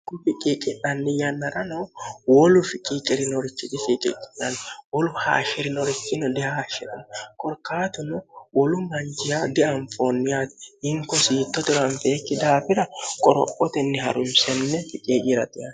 ku ficciiqinanni yannarano wolu ficciiqirinorichi disiiqiqinanni wolu haashiri norichino dihaashshi'rno korkaatuno wolu manjiya dianfoonniyaati inkosiitto tiranfeekki daafira qorophotenni harunsenne ficiicirati